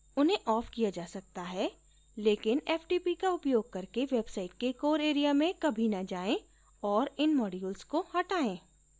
उन्हें of किया जा सकता है लेकिनftp का उपयोग करके website के core area में कभी न जायें और इन modules को हटायें